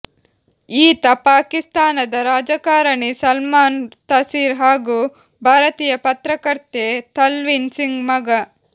ಈತ ಪಾಕಿಸ್ತಾನದ ರಾಜಕಾರಣಿ ಸಲ್ಮಾನ್ ತಸೀರ್ ಹಾಗೂ ಭಾರತೀಯ ಪತ್ರಕರ್ತೆ ತವ್ಲೀನ್ ಸಿಂಗ್ ಮಗ